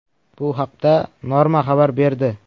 Bu haqda Norma xabar berdi .